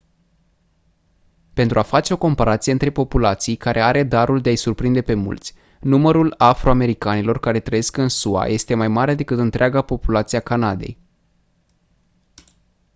pentru a face o comparație între populații care are darul de a-i surprinde pe mulți numărul afro-americanilor care trăiesc în sua este mai mare decât întreaga populație a canadei